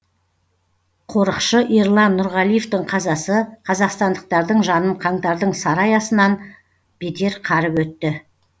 қорықшы ерлан нұрғалиевтің қазасы қазақстандықтардың жанын қаңтардың сары аясынан бетер қарып өтті